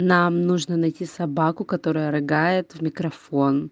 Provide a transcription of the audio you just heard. нам нужно найти собаку которая рыгает в микрофон